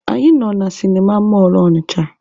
Anyị nọ na sịnịma mọlụ Ọnịcha.